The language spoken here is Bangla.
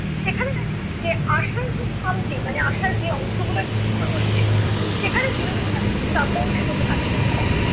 সেখানে দেখা যাচ্ছে আশার যে খামতি মানে আশার যে অংশ গুলো একটু নড়বড়ে ছিলো, সেখানে বিনোদিনী যেনো একটু support এর মতো কাজ করছে।